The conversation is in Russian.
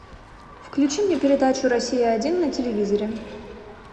включи мне передачу россия один на телевизоре